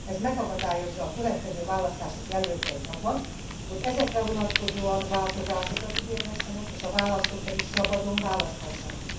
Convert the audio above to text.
Ez megakadályozza a következő választások jelöltjeit abban, hogy ezekre vonatkozóan változásokat ígérhessenek, és a választók pedig szabadon választhassanak.